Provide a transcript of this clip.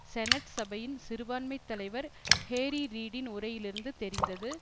senate சபையின் சிறுபான்மைத் தலைவர் ஹேரி ரீடின் உரையிலிருந்து தெரிந்தது